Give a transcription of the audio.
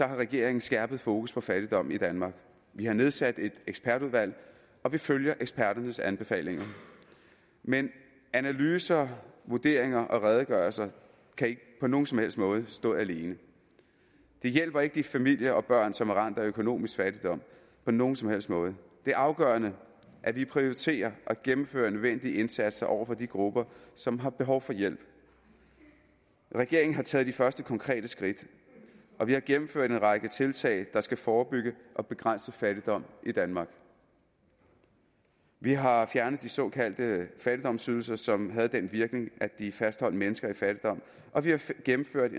har regeringen skærpet fokus på fattigdom i danmark vi har nedsat et ekspertudvalg og vi følger eksperternes anbefalinger men analyser vurderinger og redegørelser kan ikke på nogen som helst måde stå alene de hjælper ikke de familier og børn som er ramt af økonomisk fattigdom på nogen som helst måde det er afgørende at vi prioriterer og gennemfører en nødvendig indsats over for de grupper som har behov for hjælp regeringen har taget de første konkrete skridt og vi har gennemført en række tiltag der skal forebygge og begrænse fattigdom i danmark vi har fjernet de såkaldte fattigdomsydelser som havde den virkning at de fastholdt mennesker i fattigdom og vi har gennemført